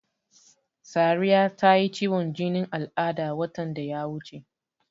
Sariya ta yi ciwon jinin al'ada watan da ya wuce.